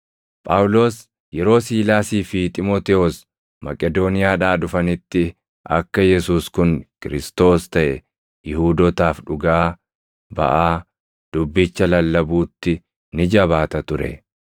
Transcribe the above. Phaawulos yeroo Siilaasii fi Xiimotewos Maqedooniyaadhaa dhufanitti akka Yesuus kun Kiristoos + 18:5 yookaan Masiihicha taʼe Yihuudootaaf dhugaa baʼaa dubbicha lallabuutti ni jabaata ture.